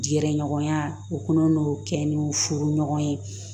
Gɛrɛ ɲɔgɔnya o kun n'o kɛ ni furuɲɔgɔn ye